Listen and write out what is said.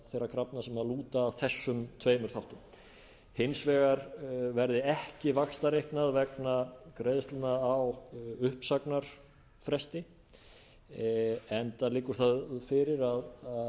þeirra krafna sem lúta að þessum tveimur þáttum hins vegar verði ekki vaxtareiknað vegna greiðslna á uppsagnarfresti enda liggur það fyrir að